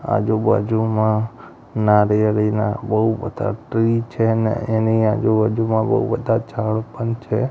આજુ બાજુમાં નારિયેલીના બૌ બધા ટ્રી છે ને એની આજુ બાજુમાં બૌ બધા ઝાડ પણ છે.